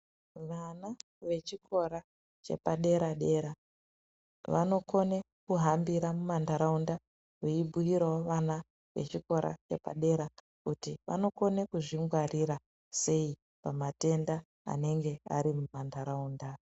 Vana vechikora chepadera-dera vanokona kuhambira mumantaraunda veibhuyirawo vana vechikora vepadera kuti vanokona kuzvingwarira sei pamatenda anenge ari mumantaraunda.